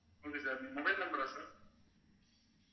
okay sir, mobile number ஆ sir